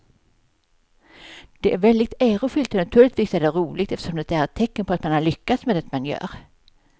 Det är väldigt ärofyllt och naturligtvis är det roligt eftersom det är ett tecken på att man har lyckats med det man gör.